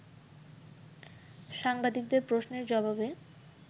সাংবাদিকদের প্রশ্নের জবাবে